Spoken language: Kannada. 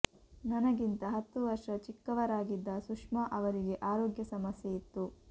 ನನಗಿಂತ ಹತ್ತು ವರ್ಷ ಚಿಕ್ಕವರಾಗಿದ್ದ ಸುಷ್ಮಾ ಅವರಿಗೆ ಆರೋಗ್ಯ ಸಮಸ್ಯೆ ಇತ್ತು